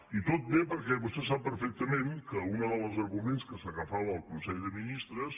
i tot ve perquè vostè sap perfectament que un dels ar·guments a què s’agafava el consell de ministres